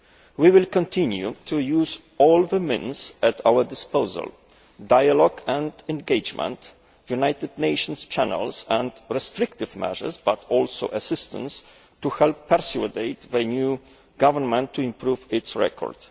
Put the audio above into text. We will continue to use all the means at our disposal dialogue and engagement, United Nations channels and restrictive measures, but also assistance to help persuade the new government to improve its record.